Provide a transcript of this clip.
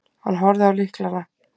Hann horfði á lyklana.